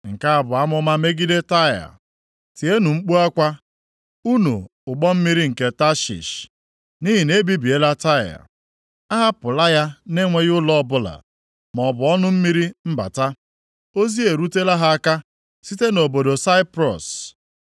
Nke a bụ amụma megide Taịa: Tienụ mkpu akwa, unu ụgbọ mmiri nke Tashish nʼihi na e bibiela Taịa, ahapụla ya na-enweghị ụlọ ọbụla maọbụ ọnụ mmiri mbata. Ozi erutela ha aka site nʼobodo Saiprọs.